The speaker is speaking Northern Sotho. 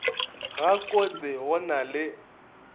ga kotse go na le